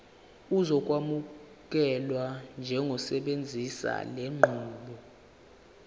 uzokwamukelwa njengosebenzisa lenqubo